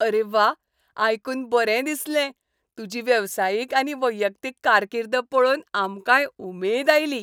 अरे व्वा, आयकून बरें दिसलें. तुजी वेवसायीक आनी वैयक्तीक कारकीर्द पळोवन आमकांय उमेद आयली.